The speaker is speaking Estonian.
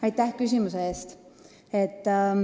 Aitäh küsimuse eest!